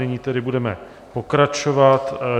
Nyní tedy budeme pokračovat.